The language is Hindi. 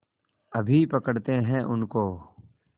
अभी पकड़ते हैं उनको